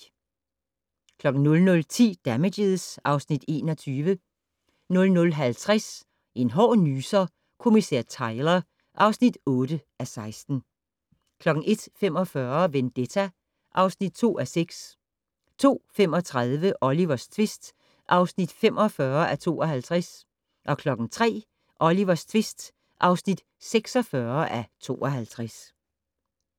00:10: Damages (Afs. 21) 00:50: En hård nyser: Kommissær Tyler (8:16) 01:45: Vendetta (2:6) 02:35: Olivers tvist (45:52) 03:00: Olivers tvist (46:52)